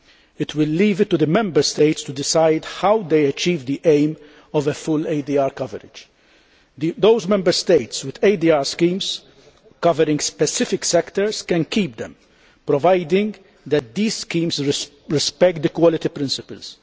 It will leave it to the Member States to decide how they achieve the aim of full ADR coverage. Those Member States with ADR schemes covering specific sectors can keep them, provided that those schemes respect the quality principles.